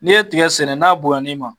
N'i ye tigɛ sɛnɛ n'a bonyana i ma?